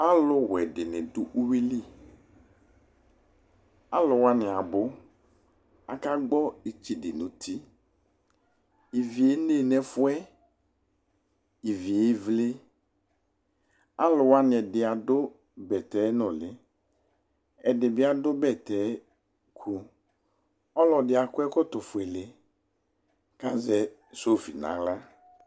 alʋ wɛ dini dʋ ʋwili, alʋ wani abʋ ,akagbɔ ɛtsɛdɛ nʋ ʋti, ivi ɛnɛ nʋ ɛƒʋɛ, iviɛ ɛvlɛ, alʋ wani ɛdi adʋ bɛtɛ nʋli ɛdibi adʋ bɛtɛ kʋ, ɔlɔdi akɔ ɛkɔtɔ ƒʋɛlɛ kʋ azɛ sɔfi nʋ ala